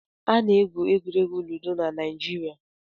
Ana-egwu egwuregwu Ludo na Naịjirịa.